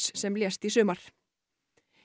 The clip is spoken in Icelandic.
sem lést í sumar